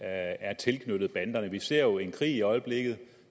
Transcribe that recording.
er tilknyttet banderne vi ser jo en krig i øjeblikket